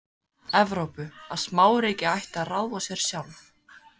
Evrópu, að smáríki ættu að ráða sér sjálf.